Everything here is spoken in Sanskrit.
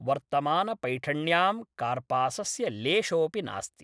वर्तमानपैठण्यां कार्पासस्य लेशोपि नास्ति।